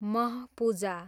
म्ह पूजा